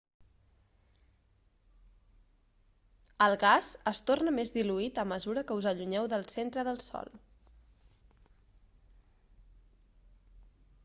el gas es torna més diluït a mesura que us allunyeu del centre del sol